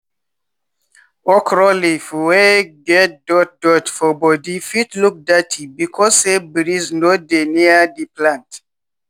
okro leaf wey get dot dot for body fit look dirty because say breeze no dey near di plant.